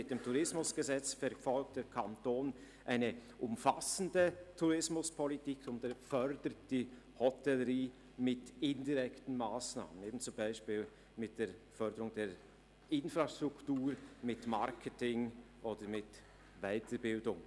Mit dem TEG verfolgt der Kanton eine umfassende Tourismuspolitik und fördert die Hotellerie mit indirekten Massnahmen wie zum Beispiel der Förderung der Infrastruktur, von Marketing oder Weiterbildung.